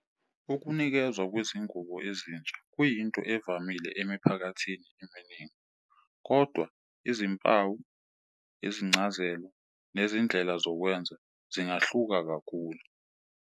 Ukunikezwa kwezingubo ezintsha kuyinto evamile emiphakathini eminingi, kodwa izimpawu, izincazelo nezindlela zokwenza zingahluka kakhulu.